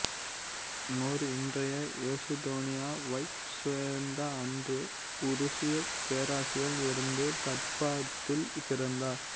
நோர் இன்றைய எசுதோனியாவைச் சேர்ந்த அன்று உருசியப் பேரரசில் இருந்த தார்பாத்தில் பிறந்தார்